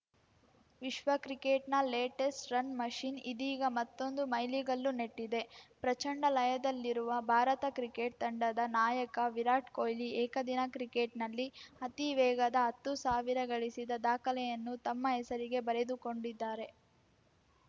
ವಿಶ್ವ ಕ್ರಿಕೆಟ್‌ನ latest run machine ಇದೀಗ ಮತ್ತೊಂದು ಮೈಲಿಗಲ್ಲು ನೆಟ್ಟಿದೆ ಪ್ರಚಂಡ ಲಯದಲ್ಲಿರುವ ಭಾರತ ಕ್ರಿಕೆಟ್‌ ತಂಡದ ನಾ ಯಕ ವಿರಾಟ್‌ ಕೊಹ್ಲಿ ಏಕದಿನ ಕ್ರಿಕೆಟ್‌ನಲ್ಲಿ ಅತಿ ವೇಗದ ಹತ್ತು ಸಾವಿರ ಗಳಿಸಿದ ದಾಖಲೆಯನ್ನು ತಮ್ಮ ಹೆಸರಿಗೆ ಬರೆದುಕೊಂಡಿದ್ದಾರೆ